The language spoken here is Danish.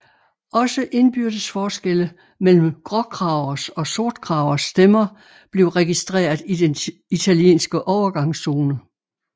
Også indbyrdes forskelle mellem gråkragers og sortkragers stemmer blev registreret i den italienske overgangszone